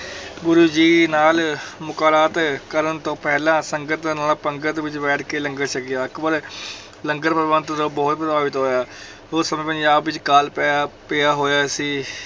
ਗੁਰੂ ਜੀ ਨਾਲ ਮੁਲਾਕਾਤ ਕਰਨ ਤੋਂ ਪਹਿਲਾਂ ਸੰਗਤ ਨਾਲ ਪੰਗਤ ਵਿੱਚ ਬੈਠ ਕੇ ਲੰਗਰ ਛਕਿਆ, ਅਕਬਰ ਲੰਗਰ ਪ੍ਰਬੰਧ ਤੋਂ ਬਹੁਤ ਪ੍ਰਭਾਵਿਤ ਹੋਇਆ ਉਸ ਸਮੇਂ ਪੰਜਾਬ ਵਿੱਚ ਕਾਲ ਪਿਆ ਪਿਆ ਹੋਇਆ ਸੀ,